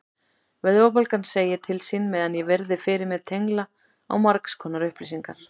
Vöðvabólgan segir til sín meðan ég virði fyrir mér tengla á margskonar upplýsingar.